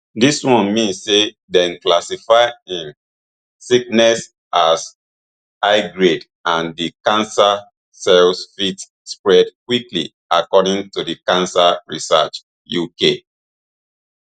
dis one mean say dem classify im sickness as highgrade and di cancer cells fit spread quickly according to cancer research uk